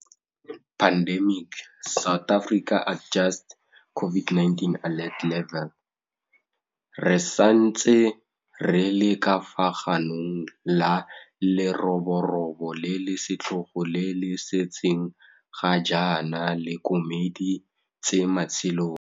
Re santse re le ka fa ganong la leroborobo le le setlhogo le le setseng ga jaana le komedi tse matshelo.